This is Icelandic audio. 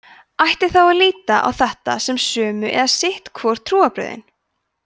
ætti þá að líta á þetta sem sömu eða sitt hvor trúarbrögðin